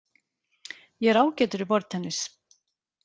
Ég er ágætur í borðtennis.